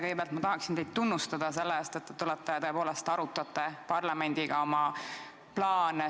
Kõigepealt ma tahan teid tunnustada selle eest, et te tulite parlamendile oma plaane ja soove tutvustama.